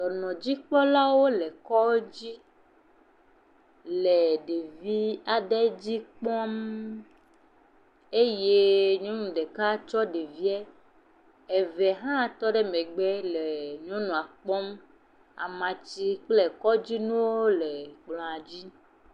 Dɔbɔdzikpɔlawo le kɔdzi le ɖevi aɖe dzi kpɔm eye nyenu ɖeka tsɔ ɖevie, eve hã tɔ ɖe megbe le nyɔnua kpɔm, amatsi kple kɔdzinuwo le fi mie.